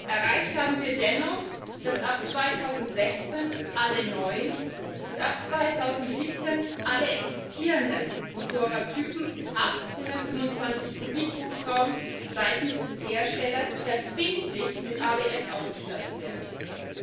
Erreicht haben wir dennoch, dass ab 2016 alle neuen, und ab 2017 alle existierenden Motorradtypen ab 125 cm 3 Hubraum seitens des Herstellers verbindlich mit ABS ausgestattet werden müssen.